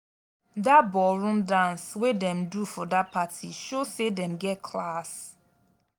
dat ballroom dance wey dem do for dat party show sey dem get class.